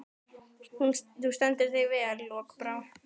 Þú stendur þig vel, Lokbrá!